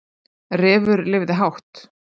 Refur lifði hátt